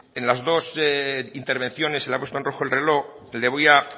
en las dos intervenciones se le ha puesto en rojo el reloj le voy a